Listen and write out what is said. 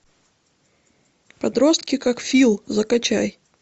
подростки как фил закачай